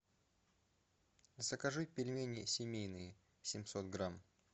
закажи пельмени семейные семьсот грамм